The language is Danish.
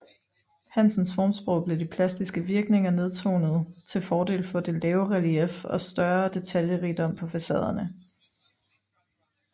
Hansens formsprog blev de plastiske virkninger nedtonet til fordel for det lave relief og større detaljerigdom på facaderne